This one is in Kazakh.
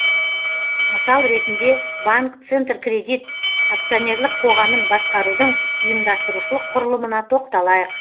мысал ретінде банк центр кредит акционерлік қоғамын басқарудың ұйымдастырушылық құрылымына тоқталайық